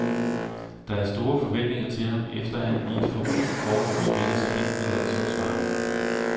Der er store forventninger til ham, efter at han i et forrygende forår spillede sig ind i landsholdsvarmen.